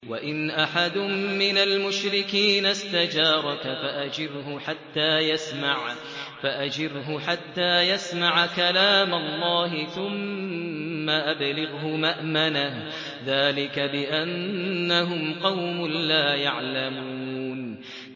وَإِنْ أَحَدٌ مِّنَ الْمُشْرِكِينَ اسْتَجَارَكَ فَأَجِرْهُ حَتَّىٰ يَسْمَعَ كَلَامَ اللَّهِ ثُمَّ أَبْلِغْهُ مَأْمَنَهُ ۚ ذَٰلِكَ بِأَنَّهُمْ قَوْمٌ لَّا يَعْلَمُونَ